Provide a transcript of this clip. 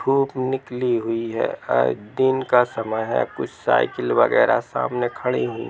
धुप निकली हुई है दिन का समय है कुछ साईकिल वगेरह सामने खड़ी हुई--